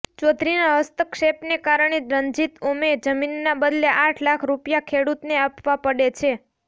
ચોધરીના હસ્તક્ષેપને કારણે રંજીત ઓમે જમીનના બદલે આઠ લાખ રુપિયા ખેડુતને આપવા પડે છે